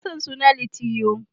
Ina son suna Litiyo.